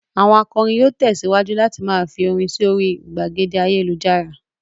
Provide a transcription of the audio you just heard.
Àwọn akọrin yóò tẹ̀síwájú láti máa fi orin sí orí ìgbàgede ayélujára.